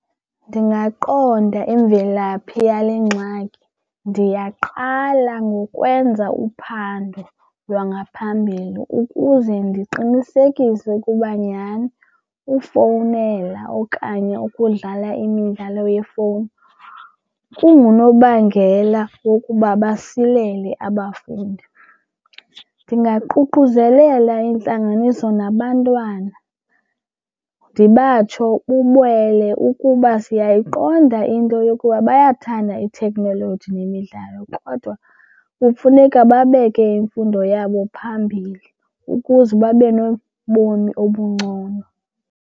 Ndingaqonda imvelaphi yale ngxaki. Ndiyaqala ngokwenza uphando lwangaphambili ukuze ndiqinisekise ukuba nyhani ufowunela okanye ukudlala imidlalo yefowuni kungunobangela wokuba basilele abafundi. Ndingaququzelela intlanganiso nabantwana ndibatsho ukuba siyayiqonda into yokuba bayathanda ithekhnoloji nemidlalo kodwa kufuneka babeke imfundo yabo phambili ukuze babe nobomi obungcono.